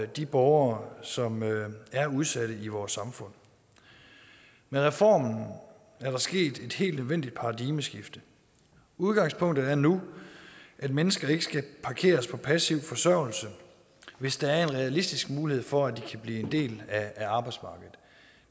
de borgere som er udsatte i vores samfund med reformen er der sket et helt nødvendigt paradigmeskifte udgangspunktet er nu at mennesker ikke skal parkeres på passiv forsørgelse hvis der er en realistisk mulighed for at de kan blive en del af arbejdsmarkedet